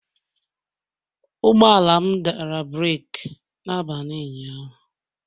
Ụgbọ ala m dara breeki n'abalị ụnyaahụ